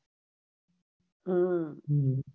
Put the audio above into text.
હઅ